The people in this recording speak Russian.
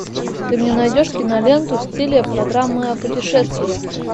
ты мне найдешь киноленту в стиле программы о путешествиях